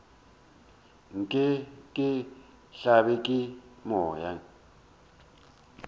nke ke hlabje ke moya